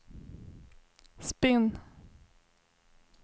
spinn